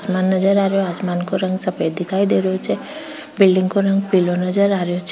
आसमान नजर आ रहो आसमान का रंग सफ़ेद दिखाई दे रहो छे बिलडिंग का रंग पिलो नजर आ रहे छे।